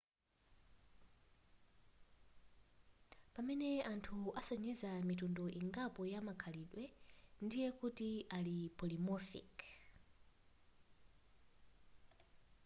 pamene anthu asonyeza mitundu ingapo ya makhalidwe ndiye kuti ali polymorphic